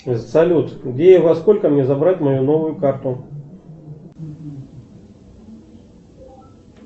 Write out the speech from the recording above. салют где и во сколько мне забрать мою новую карту